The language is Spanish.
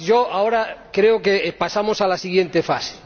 Ahora creo que pasamos a la siguiente fase...